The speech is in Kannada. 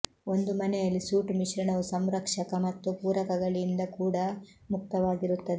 ಒಂದು ಮನೆಯಲ್ಲಿ ಸೂಟ್ ಮಿಶ್ರಣವು ಸಂರಕ್ಷಕ ಮತ್ತು ಪೂರಕಗಳಿಂದ ಕೂಡ ಮುಕ್ತವಾಗಿರುತ್ತದೆ